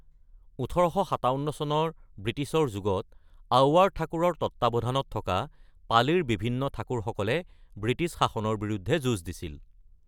১৮৫৭ চনৰ ব্ৰিটিছৰ যুগত, আউৱাৰ ঠাকুৰৰ তত্ত্বাৱধানত থকা পালিৰ বিভিন্ন ঠাকুৰসকলে ব্ৰিটিছ শাসনৰ বিৰুদ্ধে যুঁজ দিছিল।